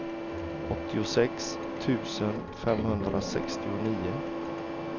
åttiosex tusen femhundrasextionio